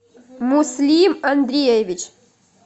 муслим андреевич